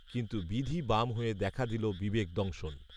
কিন্তু বিধি বাম হয়ে দেখা দিল বিবেক দংশন